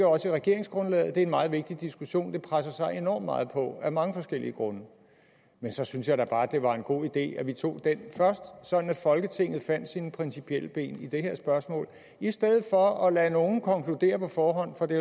også i regeringsgrundlaget det er en meget vigtig diskussion der presser sig enormt meget på af mange forskellige grunde men så synes jeg da bare det var en god idé at vi tog den først sådan at folketinget fandt sine principielle ben i det her spørgsmål i stedet for at lade nogle konkludere på forhånd for det